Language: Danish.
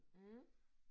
Mh